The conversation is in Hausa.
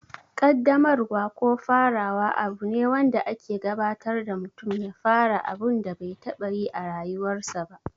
Ƙaddamarwa ko farawa abu ne wanda ake gabatar da mutum ya fara abun da bai taɓa yi a rayuwarsa ba.